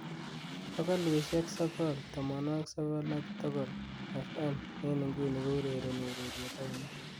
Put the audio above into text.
bogolusiek sogol tomonwogik sogol ak dogol f.m en inguni keurereni ureryet ainon